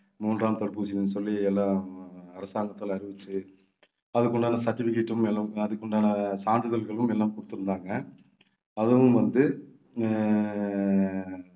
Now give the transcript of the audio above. மூன்றாம் தடுப்பூசின்னு சொல்லி எல்லாம் அரசாங்கத்தில அறிவிச்சு அதுக்கு உண்டான certificate உம் எல்லாம் அதுக்கு உண்டான சான்றிதழ்களும் எல்லாம் கொடுத்திருந்தாங்க. அதுவும் வந்து அஹ்